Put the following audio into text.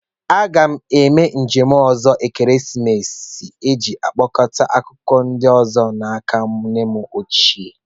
M ga-eme njem ọzọ ekeresimesi a iji kpokọta akụkọ ndị ọzọ n'aka nne m ochie